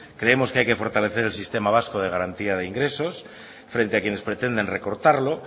creemos que hay que fortalecer el sistema vasco de garantía de ingresos frente a quienes pretendan recortarlo